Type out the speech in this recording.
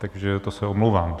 Takže to se omlouvám.